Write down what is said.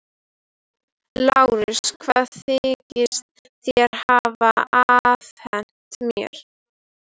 LÁRUS: Hvað þykist þér hafa afhent mér?